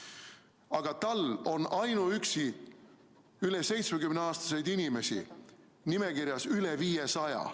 Aga tal on ainuüksi üle 70-aastaseid inimesi nimekirjas üle 500.